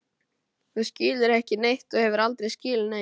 Þú skilur ekki neitt og hefur aldrei skilið neitt!